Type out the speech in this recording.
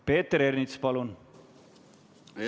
Peeter Ernits, palun!